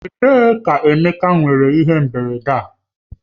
Ebee ka Emeka nwere ihe mberede a?